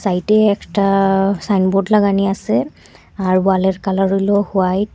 সাইটে একটা সাইনবোর্ড লাগানি আসে আর ওয়ালের কালার হইল হোয়াইট ।